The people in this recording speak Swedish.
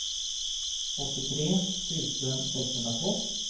åttiotre tusen sexhundratvå